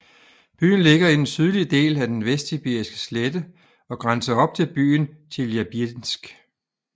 Byen ligger i den sydlige del af den Vestsibiriske slette og grænser op til byen Tjeljabinsk